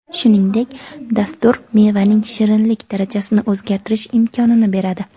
Shuningdek, dastur mevaning shirinlik darajasini o‘zgartirish imkonini beradi.